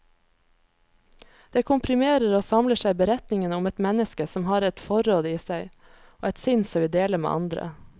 Det komprimerer og samler beretningen om et menneske som har et forråd i seg, og et sinn som vil dele med andre.